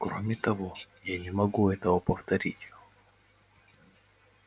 кроме того я не могу этого повторить